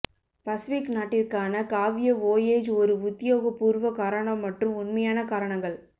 Pacific நாட்டிற்கான காவிய voyage ஒரு உத்தியோகபூர்வ காரணம் மற்றும் உண்மையான காரணங்கள்